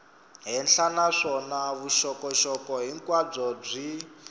henhla naswona vuxokoxoko hinkwabyo byi